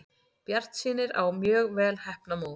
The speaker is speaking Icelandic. Bjartsýnir á mjög vel heppnað mót